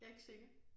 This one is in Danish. Jeg ikke sikker